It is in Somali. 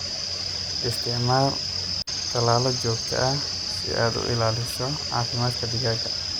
Isticmaal tallaalo joogto ah si aad u ilaaliso caafimaadka digaaga.